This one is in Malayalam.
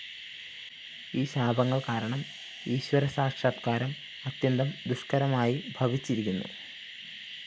ഈ ശാപങ്ങള്‍ കാരണം ഈശ്വരസാക്ഷാത്കാരം അത്യന്തം ദുഷ്‌ക്കരമായി ഭവിച്ചിരിക്കുന്നു